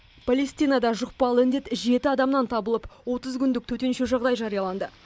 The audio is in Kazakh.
палестинада жұқпалы індет жеті адамнан табылып отыз күндік төтенше жағдай жарияланды